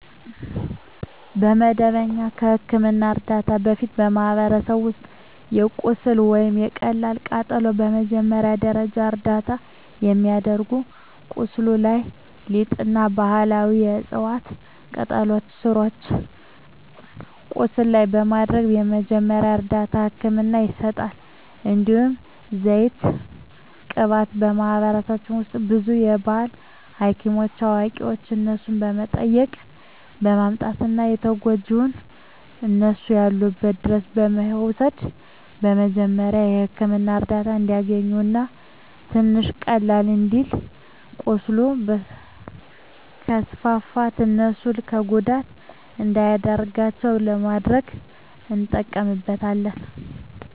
ከመደበኛ የሕክምና ዕርዳታ በፊት፣ በማኅበረሰባችን ውስጥ ለቁስል ወይም ለቀላል ቃጠሎ መጀመሪያ ደረጃ እርዳታ የሚደረገው ቁስሉ ላይ ሊጥ እና ባህላዊ የዕፅዋት ቅጠሎችን ስሮችን ቁስሉ ላይ በማድረግ መጀመሪያ እርዳታ ህክምና ይሰጣል። እንዲሁም ዘይት ቅባት በማህበረሰባችን ውስጥ ብዙ የባህል ሀኪሞች አዋቂዋች እነሱን በመጠየቅ በማምጣት ተጎጅውን እነሱ ያሉበት ድረስ በመውሰድ የመጀሪያዉ ህክምና እርዳታ እንዲያገኝ እና ትንሽ ቀለል እንዲልለት ቁስሉ ከስፋፋት እሱን ለጉዳት እንዳይዳርገው ለማድረግ እንጠቀምበታለን።